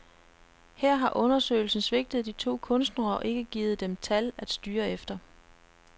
Her har undersøgelsen svigtet de to kunstnere og ikke givet dem tal at styre efter.